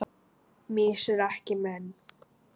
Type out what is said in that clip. Mýs eru ekki menn